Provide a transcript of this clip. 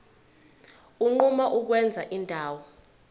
unquma ukwenza indawo